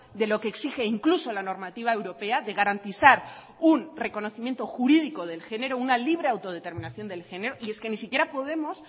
de lo que exige incluso la normativa europea de garantizar un reconocimiento jurídico del género una libre autodeterminación del género y es que ni siquiera podemos